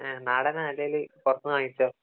നാടനാ അല്ലെങ്കിൽ പുറത്തുന്നു വാങ്ങിച്ചതോ